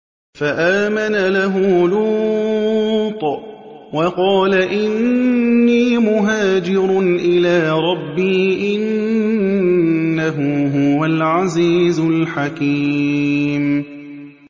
۞ فَآمَنَ لَهُ لُوطٌ ۘ وَقَالَ إِنِّي مُهَاجِرٌ إِلَىٰ رَبِّي ۖ إِنَّهُ هُوَ الْعَزِيزُ الْحَكِيمُ